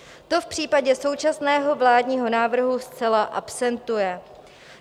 To v případě současného vládního návrhu zcela absentuje.